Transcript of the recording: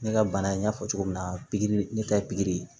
Ne ka bana in n y'a fɔ cogo min na pikiri ne ta ye pikiri ye